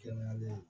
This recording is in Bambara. Kɛnɛya bɛ yen